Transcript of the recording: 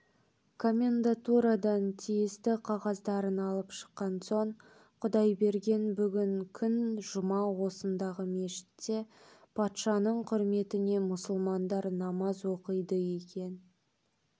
комендатурадан тиісті қағаздарын алып шыққан соң құдайберген бүгін күн жұма осындағы мешітте патшаның құрметіне мұсылмандар намаз оқиды екен